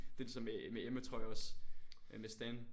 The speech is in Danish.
Det ligesom med med Emma tror jeg også. Øh med Stan